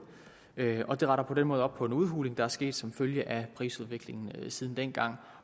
og det retter på den måde op på en udhuling der er sket som følge af prisudviklingen siden dengang